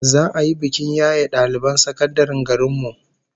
Za'a yi bikin yaye daliban sakandaren garin mu